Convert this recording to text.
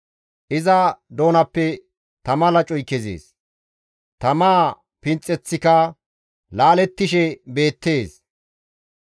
Iza doonappe tama lacoy kezees; tamaa pinxeththika laalettishe beettes.